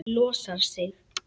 Losar sig.